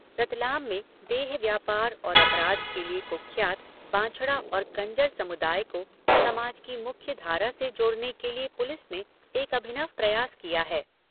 रतलाम में देह व्यापार और अपराध के लिए कुख्यात बांछड़ा और कंजर समुदाय को समाज की मुख्य धारा से जोड़ने के लिए पुलिस ने एक अभिनव प्रयास किया है।